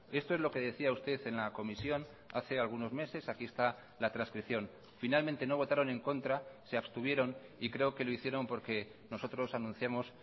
esto es lo que decía usted en la comisión hace algunos meses aquí está la transcripción finalmente no votaron en contra se abstuvieron y creo que lo hicieron porque nosotros anunciamos